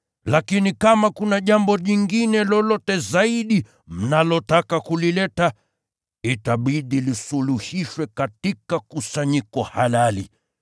Lakini kama kuna jambo jingine lolote zaidi mnalotaka kulileta, itabidi lisuluhishwe katika kusanyiko halali.